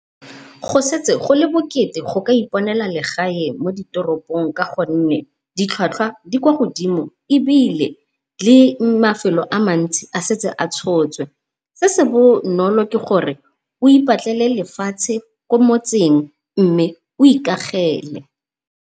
Go setse go le bokete go ka iponela legae mo ditoropong ka gonne ditlhwatlhwa di kwa godimo, ebile le mafelo a mantsi a setse a tshotswe. Se se bonolo ke gore o ipatlele lefatshe ko motseng mme o ikagele.